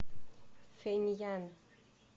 фэньян